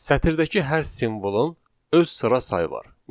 Sətirdəki hər simvolun öz sıra sayı var.